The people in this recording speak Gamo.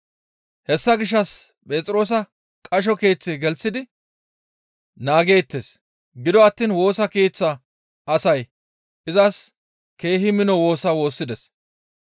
Hessa gishshas Phexroosa qasho keeththe gelththidi naageettes; gido attiin Woosa Keeththa asay izas keehi mino woosa woossides.